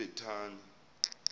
ebhetani